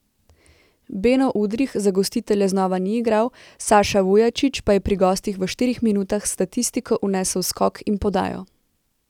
Beno Udrih za gostitelje znova ni igral, Saša Vujačić pa je pri gostih v štirih minutah v statistiko vnesel skok in podajo.